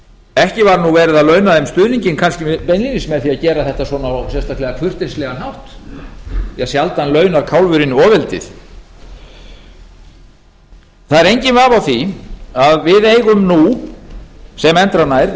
ekki var nú verið að launa þeim stuðninginn kannski beinlínis með því að gera þetta svona á sérstaklega kurteislegan hátt því að sjaldan launar kálfurinn ofeldið það er enginn vafi á því að við eigum nú sem endranær